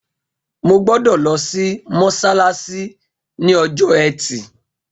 Mo gbọ́dọ̀ lọ sí mọ́sálásí ní ọjọ́ ẹtì